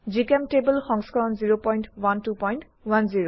জিচেম্টেবল সংস্কৰণ 01210